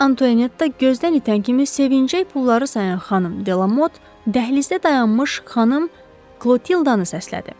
Mariya Antuanetta gözdən itən kimi sevinclə pulları sayan xanım Delamot dəhlizdə dayanmış xanım Krotildanı səslədi.